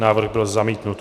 Návrh byl zamítnut.